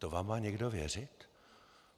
To vám má někdo věřit?